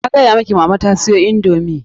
Na gaya miki mama ta siyo indomii.